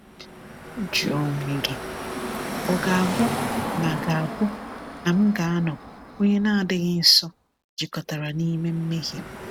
“Jụọ onwe gị, ‘Ọ ga-abụ na ga-abụ na m ga-anọ onye na-adịghị nsọ jikọtara n’ime mmehie m?’”